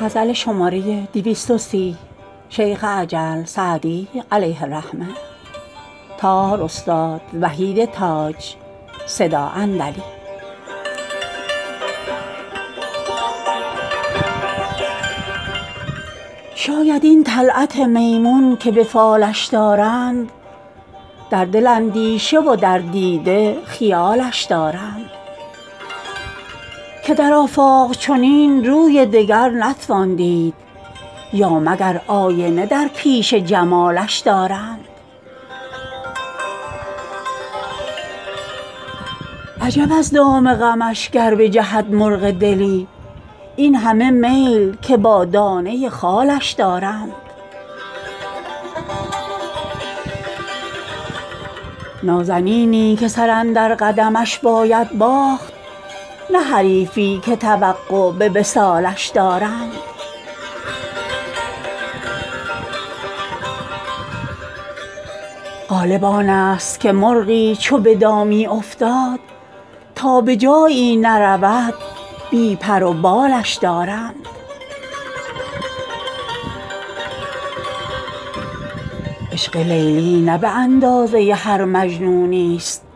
شاید این طلعت میمون که به فالش دارند در دل اندیشه و در دیده خیالش دارند که در آفاق چنین روی دگر نتوان دید یا مگر آینه در پیش جمالش دارند عجب از دام غمش گر بجهد مرغ دلی این همه میل که با دانه خالش دارند نازنینی که سر اندر قدمش باید باخت نه حریفی که توقع به وصالش دارند غالب آن ست که مرغی چو به دامی افتاد تا به جایی نرود بی پر و بالش دارند عشق لیلی نه به اندازه هر مجنونی ست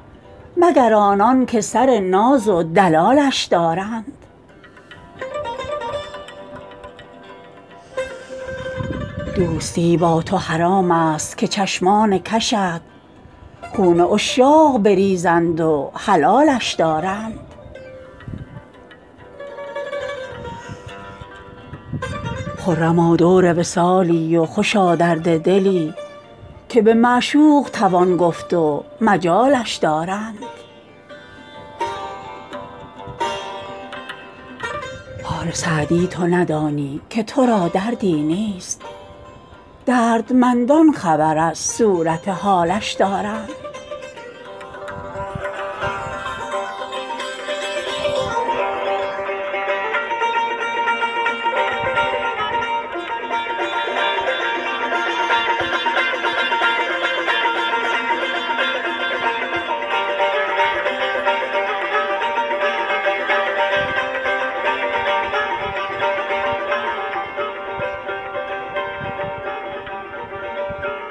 مگر آنان که سر ناز و دلالش دارند دوستی با تو حرام ست که چشمان کشت خون عشاق بریزند و حلالش دارند خرما دور وصالی و خوشا درد دلی که به معشوق توان گفت و مجالش دارند حال سعدی تو ندانی که تو را دردی نیست دردمندان خبر از صورت حالش دارند